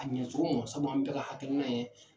A ɲɛcogo mɔ sabu an bɛɛ ka hakilina ye